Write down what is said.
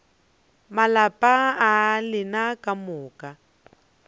malapa a lena ka moka